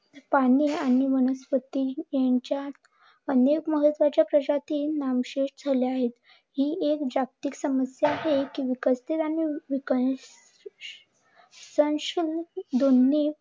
पाणी आणि वनस्पती यांच्या अनेक प्रजाती नामशेष झाल्या आहे. ही एक जागतिक समस्या आहे की